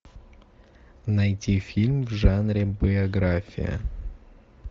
найти фильм в жанре биография